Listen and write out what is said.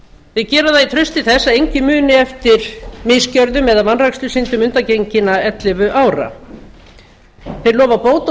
gera það í trausti þess að enginn muni eftir misgjörðum eða vanrækslusyndum undangenginna ellefu ára þeir lofa bót og